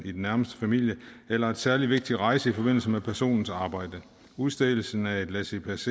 i den nærmeste familie eller en særlig vigtig rejse i forbindelse med personens arbejde udstedelse af et laissez